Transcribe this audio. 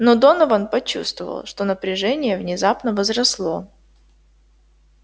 но донован почувствовал что напряжение внезапно возросло